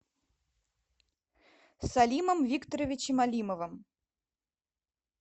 салимом викторовичем алимовым